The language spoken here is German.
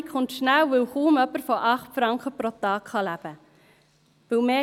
Die Verelendung kommt schnell, weil kaum jemand von 8 Franken pro Tag leben kann.